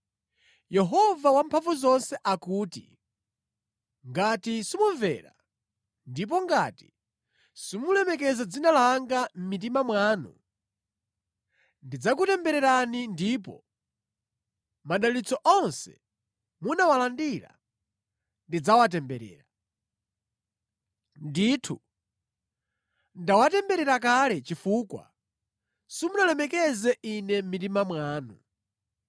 Yehova Wamphamvuzonse akuti, “Ngati simumvera, ndipo ngati simulemekeza dzina langa mʼmitima mwanu, ndidzakutembererani ndipo madalitso onse munawalandira ndidzawatemberera. Ndithu, ndawatemberera kale, chifukwa simunalemekeze Ine mʼmitima mwanu.”